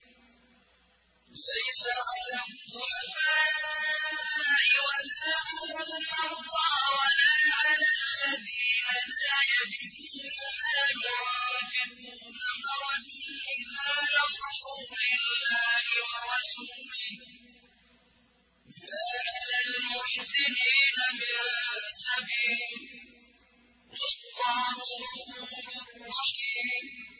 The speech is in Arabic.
لَّيْسَ عَلَى الضُّعَفَاءِ وَلَا عَلَى الْمَرْضَىٰ وَلَا عَلَى الَّذِينَ لَا يَجِدُونَ مَا يُنفِقُونَ حَرَجٌ إِذَا نَصَحُوا لِلَّهِ وَرَسُولِهِ ۚ مَا عَلَى الْمُحْسِنِينَ مِن سَبِيلٍ ۚ وَاللَّهُ غَفُورٌ رَّحِيمٌ